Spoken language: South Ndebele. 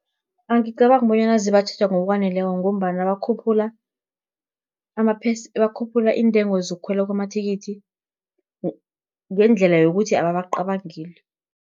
Angicabangi bonyana zibatjheja ngokwaneleko, ngombana bakhuphula iintengo zokukhwela kwamathikithi, ngendlela yokuthi ababacabangeli.